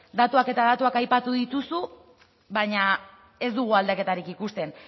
datuak eta datuak aipatu dituzu baina ez dugu aldaketarik ikusten